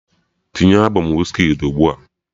Tinye albọm Wizkid's ugbua!